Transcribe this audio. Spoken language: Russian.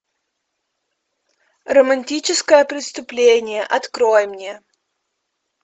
романтическое преступление открой мне